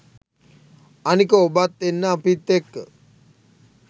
අනික ඔබත් එන්න අපිත් එක්ක